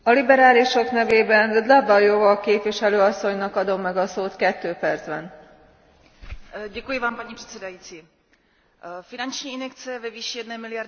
Paní předsedající, finanční injekce ve výši jedné miliardy eur ve formě předfinancování do projektu na podporu mladých nezaměstnaných je zcela zásadním krokem nové Evropské komise.